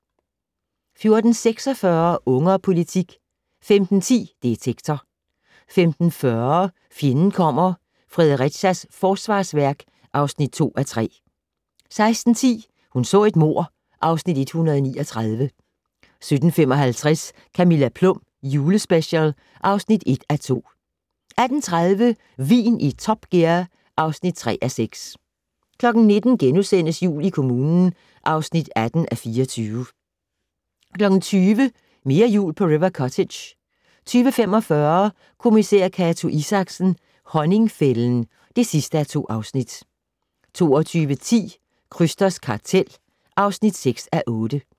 14:46: Unge og politik 15:10: Detektor 15:40: Fjenden kommer - Fredericia Forsvarsværk (2:3) 16:10: Hun så et mord (Afs. 139) 17:55: Camilla Plum julespecial (1:2) 18:30: Vin i Top Gear (3:6) 19:00: Jul i kommunen (18:24)* 20:00: Mere jul på River Cottage 20:45: Kommissær Cato Isaksen: Honningfælden (2:2) 22:10: Krysters kartel (6:8)